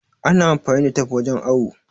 Ana amfani da tif wajen awo